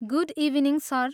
Good evening sir!